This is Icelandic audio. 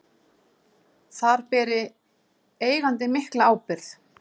Þar beri eigandi mikla ábyrgð.